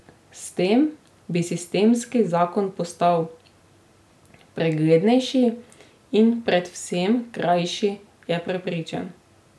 S tem bi sistemski zakon postal preglednejši in predvsem krajši, je prepričan.